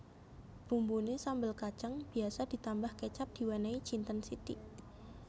Bumbuné sambel kacang biasa ditambah kecap diwènèhi jinten sithik